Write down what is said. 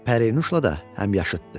Pərinuşla da həmyaşıddı.